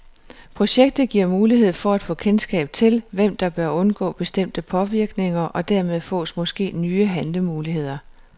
Projektet giver mulighed for at få kendskab til, hvem der bør undgå bestemte påvirkninger, og dermed fås måske nye handlemuligheder.